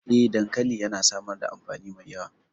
Eh, dankali yana samar da amfani mai yawa.